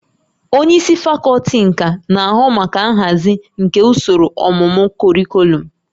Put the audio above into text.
Onye isi fakọlti nka na-ahụ maka nhazi nke usoro ọmụmụ kọrịkọlọm